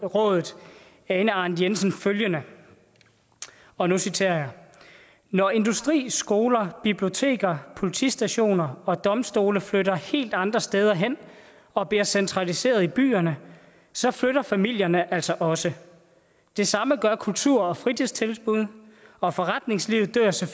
ane arnth jensen følgende og nu citerer jeg når industri skoler biblioteker politistationer og domstole flytter helt andre steder hen og bliver centraliseret i byerne så flytter familierne altså også det samme gør kultur og fritidstilbud og forretningslivet dør så